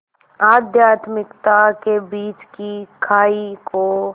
आध्यात्मिकता के बीच की खाई को